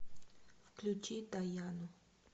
включи даяну